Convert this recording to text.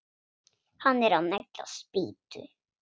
Hann er að negla spýtu.